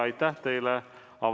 Aitäh teile!